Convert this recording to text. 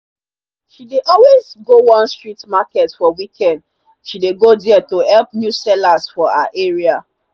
she dey always go one street market for weekend. she dey go there to help new sellers for her area.